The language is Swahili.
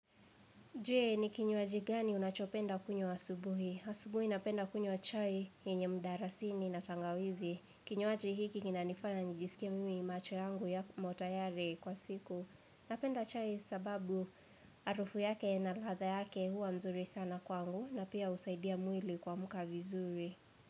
Je ni kinywaji gani unachopenda kunywa asubuhi. Asubuhi napenda kunywa chai yenye mdarasini na tangawizi. Kinywaji hiki kina nifanya njisike mimi macho yangu ya motayari kwa siku. Napenda chai sababu harufu yake na ladha yake huwa mzuri sana kwangu na pia husaidia mwili kuamka vizuri.